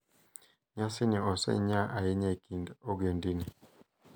Nyasini osenyaa ahinya e kind ogendini.